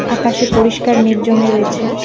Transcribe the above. আকাশে পরিষ্কার মেঘ জমে রয়েছে।